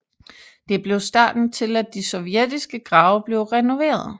Det blev starten til at de sovjetiske grave blev renoveret